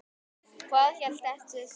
Hvað hét þessi sveit?